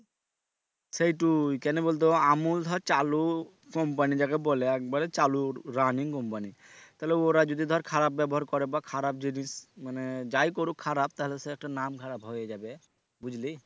সেইটোই কেনে বলতো আমুল ধর চালু company যাকে বলে একবারে চালুর running company তালে ওরা যদি ধর খারাপ ব্যবহার করে বা খারাপ যদি মানে যাই করুক খারাপ তালে সে একটা নাম খারাপ হয়ে যাবে বুঝলি?